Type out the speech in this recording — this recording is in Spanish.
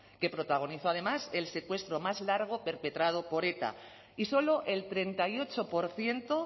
que protagonizó además el secuestro más largo perpetrado por eta y solo el treinta y ocho por ciento